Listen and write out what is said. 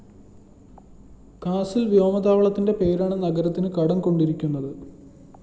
കാസില്‍ വ്യോമ താവളത്തിന്റെ പേരാണ് നഗരത്തിന് കടംകൊണ്ടിരിക്കുന്നത്